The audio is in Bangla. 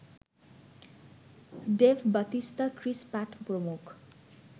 ডেভ বাতিস্তা, ক্রিস প্যাট প্রমুখ